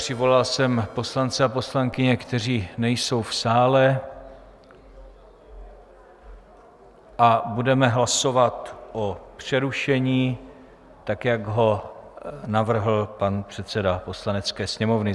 Přivolal jsem poslance a poslankyně, kteří nejsou v sále a budeme hlasovat o přerušení, tak jak ho navrhl pan předseda Poslanecké sněmovny.